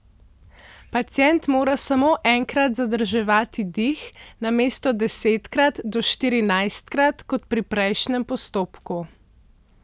Pacient mora samo enkrat zadrževati dih namesto desetkrat do štirinajstkrat, kot pri prejšnjem postopku.